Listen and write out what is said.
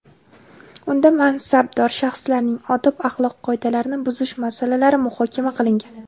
unda mansabdor shaxslarning odob-axloq qoidalarini buzish masalalari muhokama qilingan.